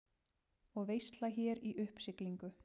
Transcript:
Og veisla hér í uppsiglingu.